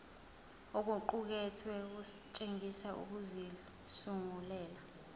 okuqukethwe kutshengisa ukuzisungulela